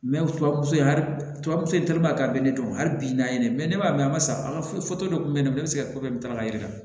tubabu in ali tubabu so in teliman a be ne dɔn hali bi n'a ye ne b'a mɛn an ma sa ka dɔ kun be ne bolo ne be se ka ko kɛ tala yiri la